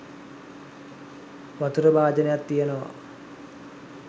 වතුර භාජනයක් තියනවා.